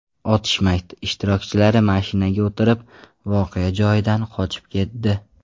Otishma ishtirokchilari mashinaga o‘tirib, voqea joyidan qochib ketdi.